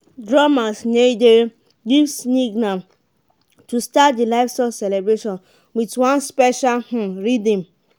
drummers nai dey give signal to start the livestock celebration with one special um rhythm.